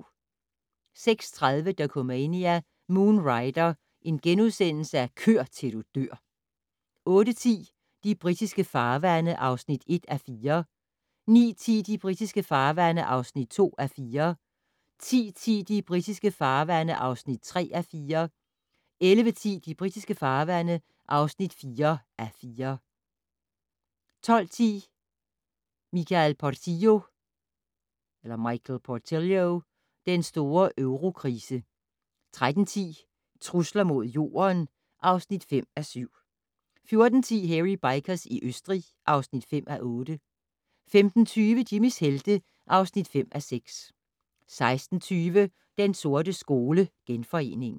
06:30: Dokumania: Moon Rider - kør til du dør * 08:10: De britiske farvande (1:4) 09:10: De britiske farvande (2:4) 10:10: De britiske farvande (3:4) 11:10: De britiske farvande (4:4) 12:10: Michael Portillo og den store eurokrise 13:10: Trusler mod Jorden (5:7) 14:10: Hairy Bikers i Østrig (5:8) 15:20: Jimmys helte (5:6) 16:20: Den sorte skole: Genforeningen